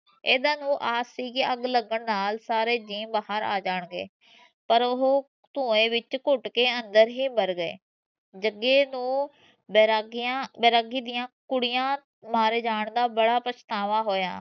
ਇਹਨਾਂ ਨੂੰ ਆਸ ਸੀ ਕਿ ਅਗ ਲਗਨ ਨਾਲ ਸਾਰੇ ਜੀ ਬਾਹਰ ਆ ਜਾਣਗੇ ਪਰ ਉਹ ਤੂਹੈ ਵਿੱਚ ਘੁੱਟ ਕੇ ਅੰਦਰ ਹੀ ਮਰ ਗਏ ਜਗੇ ਨੂੰ ਵੇਰਾਗੀਆਂ ਵੈਰਾਗੀ ਦੀਆਂ ਕੁੜੀਆਂ ਮਾਰੇ ਜਾਨ ਦਾ ਬੜਾ ਪਛਤਾਵਾ ਹੋਇਆ